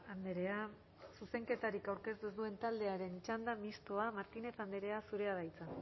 andrea zuzenketarik aurkeztu ez duen taldearen txanda mistoa martínez andrea zurea da hitza